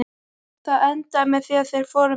Það endaði með því að þeir fóru með hann.